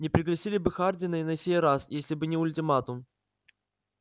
не пригласили бы хардина и на сей раз если бы не ультиматум